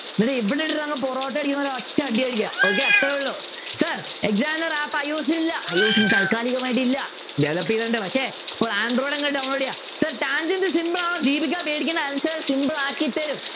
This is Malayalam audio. എന്നിട്ടു ഇവിടെ ഇട്ടിട്ട് അങ്ങ് പൊറോട്ട അടിക്കുന്നപോലെ ഒറ്റ അടിയടിക്കുക okay അത്രേ ഉള്ളു sir exam താൽക്കാലികമായിട്ടില്ല ചെലപ്പോ ഇതുണ്ട് പക്ഷെ പ്പോൾ android അങ് download ചെയ്യുക sir tangent simple ദീപിക പേടിക്കണ്ട answer simple ആക്കിത്തരും